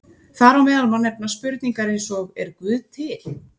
Þar á meðal má nefna spurningar eins og Er Guð til?